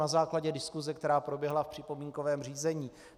Na základě diskuse, která proběhla v připomínkovém řízení.